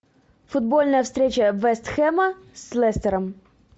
футбольная встреча вест хэма с лестером